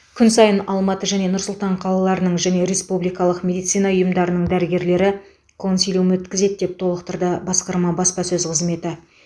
күн сайын алматы және нұр сұлтан қалаларының және республикалық медицина ұйымдарының дәрігерлері консилиум өткізеді деп толықтырды басқарма баспасөз қызметі